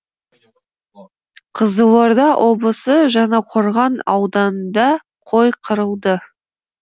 қызылорда облысы жаңақорған ауданында қой қырылды